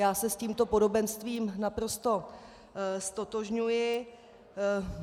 Já se s tímto podobenstvím naprosto ztotožňuji.